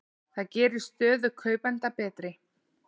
Það gerir stöðu kaupenda betri.